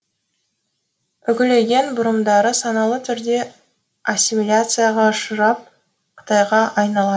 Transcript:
үкілеген бұрымдары саналы түрде ассимилияцаға ұшырап қытайға айналады